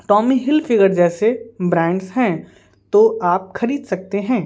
Tommy हिल -फिगरजैसे brands हैं तो आपखरीद सकते हैं।